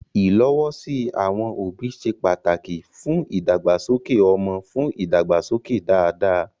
Ìlọ́wọ́sí àwọn òbí ṣe pàtàkì fún ìdàgbàsókè ọmọ fún ìdàgbàsókè dáadáa.